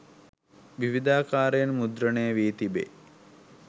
විවිධාකාරයෙන් මුද්‍රණය වී තිබේ.